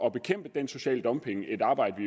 at bekæmpe den sociale dumping et arbejde